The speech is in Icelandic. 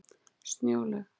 Snjólaug